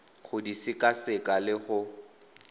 go di sekaseka le go